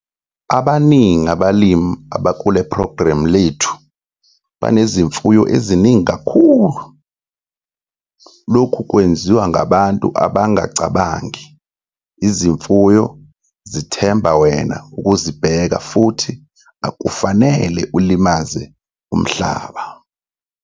Abaningi abalimi abakule phrogramu lethu banezimfuyo eziningi kakhulu. Lokhu kwenziwa ngabantu abangacabangi - izimfuyo zithemba wena ukuzibheka futhi akufanele ulimaze umhlaba.